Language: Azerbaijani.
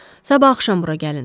Sabah axşam bura gəlin.